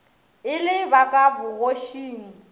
e le ba ka bogošing